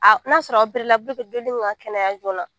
A n'a sɔrɔ ka kɛnɛya joona